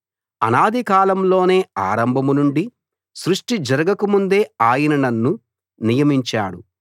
అనాది కాలంలోనే ఆరంభం నుండి సృష్టి జరగకముందే ఆయన నన్ను నియమించాడు